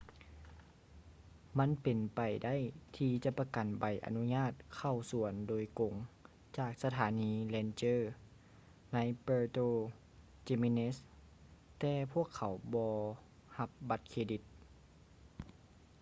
ມັນເປັນໄປໄດ້ທີ່ຈະປະກັນໃບອະນຸຍາດເຂົ້າສວນໂດຍກົງຈາກສະຖານີ ranger ໃນ puerto jiménez ແຕ່ພວກເຂົາບໍ່ຮັບບັດເຄຣດິດ